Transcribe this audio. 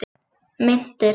Meintir